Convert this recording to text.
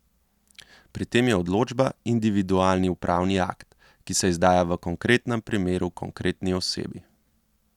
Pri tem je odločba individualni upravni akt, ki se izdaja v konkretnem primeru konkretni osebi.